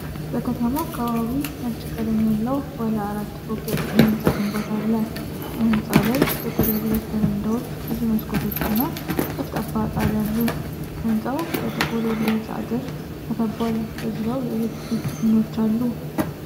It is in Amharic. በከተማ አካባቢ ነጭ ቀለም ያለው ባለ አራት ፎቅ የሕንፃ ግንባታ አለ። በህንጻው ላይ ጥቁር የብረት በረንዳዎች፣ ብዙ መስኮቶችና ጠፍጣፋ ጣሪያ አሉ። ሕንፃው በጥቁር የብረት አጥር ተከቧል። በዙሪያው የኤሌክትሪክ ምኖች አሉ?